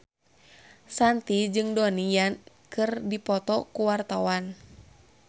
Shanti jeung Donnie Yan keur dipoto ku wartawan